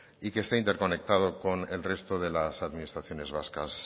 y que esté interconectado con el resto de las administraciones vascas